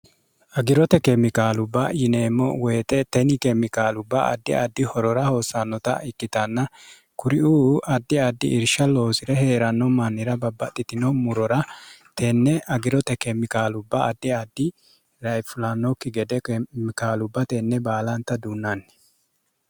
agirote keemikaalubba yineemmo woyite teni keemikaalubba addi addi horora hoosannota ikkitanna kuriuu addi addi irsha loosire hee'ranno mannira babbaxxitino murora tenne agirote keemikaalubba addi addi raifulannokki gede keemikaalubba tenne baalanta duunnanni